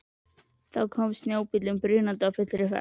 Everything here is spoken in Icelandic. Þá kom snjóbíllinn brunandi á fullri ferð.